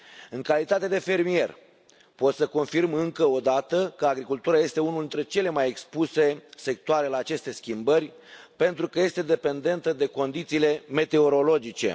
În calitate de fermier, pot să confirm încă o dată că agricultura este unul dintre cele mai expuse sectoare la aceste schimbări, pentru că este dependentă de condițiile meteorologice.